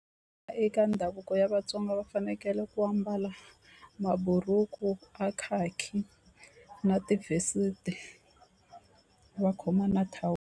Eka ndhavuko ya Vatsonga va fanekele ku ambala maburuku a khakhi na vest va khoma na .